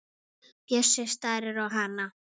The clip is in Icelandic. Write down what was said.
Bjössi starir á hana.